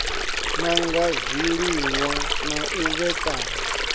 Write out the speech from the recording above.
nanga zwiliṅwa na u vhekanya